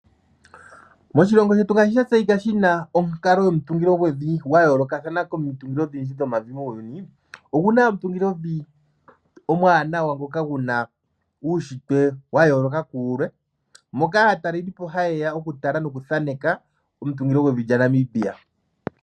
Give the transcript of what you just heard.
Moshilongo shetu ngaashi sha tseyika shi na onkalo yomutungilo gwevi gwayoolokathana komitungilo odhindji dhomavi muuyuni, ogu na omungilovi omuwanawa ngoka gu na uushintwe wa yooloka ku wulwe, moka aatelelipo ha yeya oku tala noku thaaneka omutungilo gwevi lya Namibia.